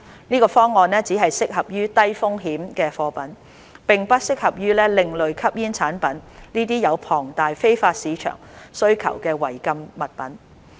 這方案只適合於低風險貨品，並不適合用於另類吸煙產品這些有龐大非法市場需求的違禁物品。